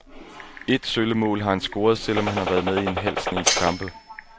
Ét sølle mål har han scoret, selv om han har været med i en halv snes kampe.